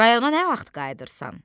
Rayona nə vaxt qayıdırsan?